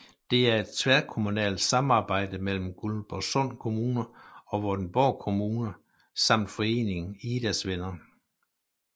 Det er et tværkommunalt samarbejde mellem Guldborgsund Kommune og Vordingborg Kommune samt foreningen Idas Venner